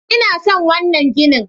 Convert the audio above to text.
I na son wannan gini.